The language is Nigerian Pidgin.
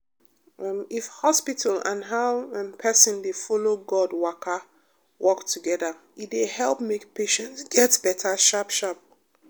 um if hospital and how um person dey follow god waka work together e dey help make patient get better sharp. um